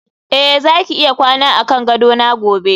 eh zaki iya kwana akan gadona gobe